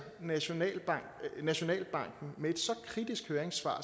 nationalbanken nationalbanken med et så kritisk høringssvar